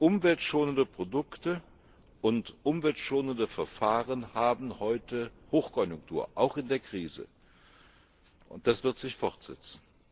Umweltschonende Produkte und umweltschonende Verfahren haben heute Hochkonjunktur, auch in der Krise. Und das wird sich fortsetzen.